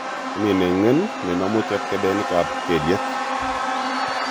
Momi neng'en nenomu chebkebenik ab kelyek